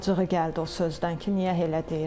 Acığı gəldi o sözdən ki, niyə elə deyirsən?